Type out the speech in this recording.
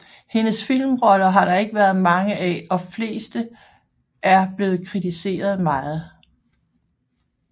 Hendes filmroller har der ikke været mange af og fleste er blevet kritiseret meget